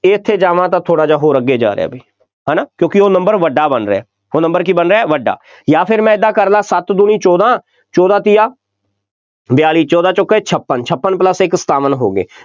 ਇਹ ਇੱਥੇ ਜਾਵਾਂ ਤਾਂ ਥੋੜ੍ਹਾ ਜਿਹਾ ਹੋਰ ਅੱਗੇ ਜਾ ਰਿਹਾ ਬਈ, ਹੈ ਨਾ, ਕਿਉਂਕਿ ਉਹ number ਵੱਡਾ ਬਣ ਰਿਹਾ, ਉਹ number ਕੀ ਬਣ ਰਿਹਾ, ਵੱਡਾ, ਜਾਂ ਫਿਰ ਮੈਂ ਏਦਾਂ ਕਰਦਾ ਸੱਤ ਦੂਣੀ ਚੋਦਾਂ, ਚੋਦਾਂ ਤੀਆ ਬਿਆਲੀ, ਚੋਦਾ ਚੌਕੇ ਛਪਨ, ਛਪਨ plus ਇੱਕ ਸਤਾਵਨ ਹੋ ਗਏ,